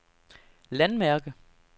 landmærke